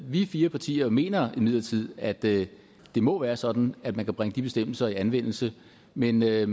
vi fire partier mener imidlertid at det må være sådan at man kan bringe de bestemmelser i anmeldelse men med